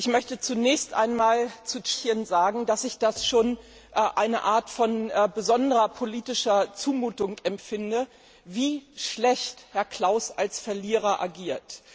Ich möchte zunächst einmal zu Tschechien sagen, dass ich es schon als eine Art von besonderer politischer Zumutung empfinde, wie schlecht Herr Klaus als Verlierer agiert.